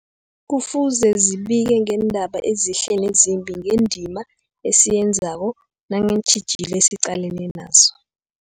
Kufuze zibike ngeendaba ezihle nezimbi, ngendima esiyenzako nangeentjhijilo esiqalene nazo.